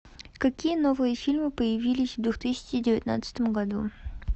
какие новые фильмы появились в две тысячи девятнадцатом году